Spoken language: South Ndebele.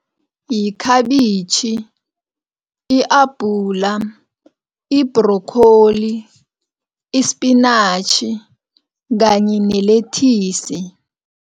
Yikhabitjhi, i-abhula, i-broccoli, isipinatjhi kanye nelethisi.